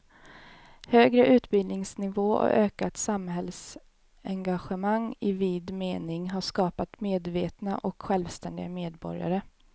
Högre utbildningsnivå och ökat samhällsengagemang i vid mening har skapat medvetna och självständiga medborgare.